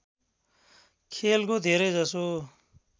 खेलको धेरै जसो